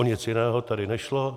O nic jiného tady nešlo.